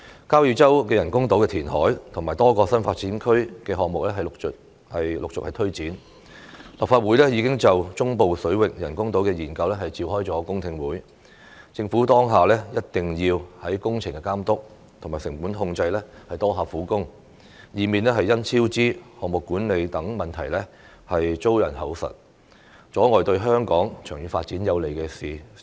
交椅洲人工島填海和多個新發展區項目陸續推展，立法會已就中部水域人工島的研究召開公聽會，政府當下一定要在工程監督和成本控制方面多下苦功，以免因超支、項目管理等問題遭人口實，阻礙對香港長遠發展有利的事情。